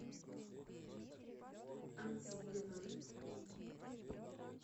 антипина